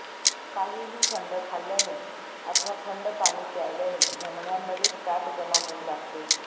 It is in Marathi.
काहीही थंड खाल्ल्याने अथवा थंड पाणी प्यायल्याने धमन्यांमध्ये फॅट जमा होऊ लागते